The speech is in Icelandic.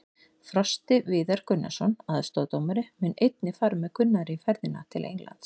Frosti Viðar Gunnarsson, aðstoðardómari, mun einnig fara með Gunnari í ferðina til Englands.